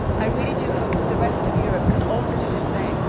I really do hope that the rest of Europe can also do the same